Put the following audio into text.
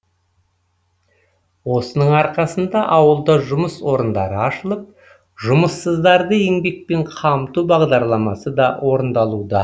осының арқасында ауылда жұмыс орындары ашылып жұмыссыздарды еңбекпен қамту бағдарламасы да орындалуда